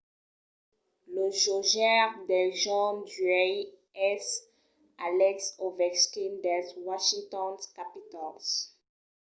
lo jogaire del jorn d’uèi es alex ovechkin dels washington capitals